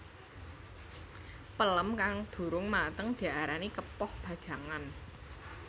Pelem kang durung mateng diarani kepoh bajangan